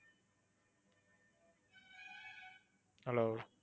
hello